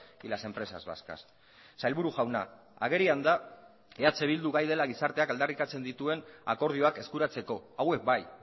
y las empresas vascas sailburu jauna agerian da eh bildu gai dela gizarteak aldarrikatzen dituen akordioak eskuratzeko hauek bai